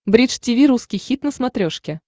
бридж тиви русский хит на смотрешке